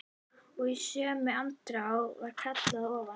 Og í sömu andrá var kallað að ofan.